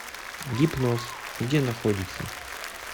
гипноз где находится